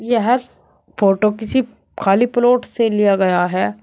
यह फोटो किसी खाली प्लॉट से लिया गया है।